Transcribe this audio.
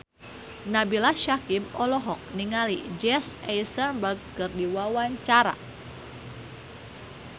Nabila Syakieb olohok ningali Jesse Eisenberg keur diwawancara